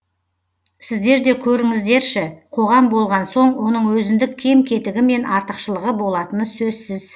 сіздер де көріңіздерші қоғам болған соң оның өзіндік кем кетігі мен артықшылығы болатыны сөзсіз